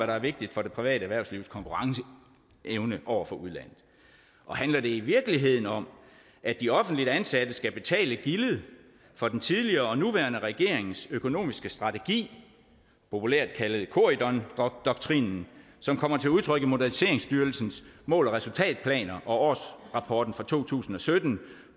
der er vigtigt for det private erhvervslivs konkurrenceevne over for udlandet handler det i virkeligheden om at de offentligt ansatte skal betale gildet for den tidligere og nuværende regerings økonomiske strategi populært kaldet corydondoktrinen som kommer til udtryk i moderniseringsstyrelsens mål og resultatplaner og årsrapporten for to tusind og sytten